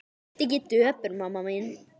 Vertu ekki döpur mamma mín.